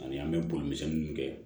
Ani an bɛ boli misɛnninw kɛ